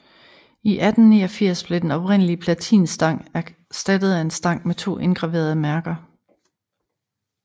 I 1889 blev den oprindelige platinstang erstattet af en stang med to indgraverede mærker